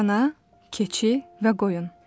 Dana, keçi və qoyun.